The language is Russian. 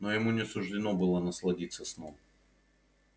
но ему не суждено было насладиться сном